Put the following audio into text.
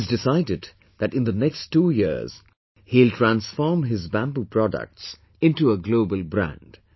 He has decided that in the next two years, he will transform his bamboo products into a global brand